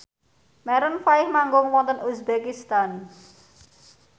Maroon 5 manggung wonten uzbekistan